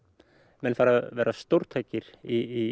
menn fara að verða stórtækir í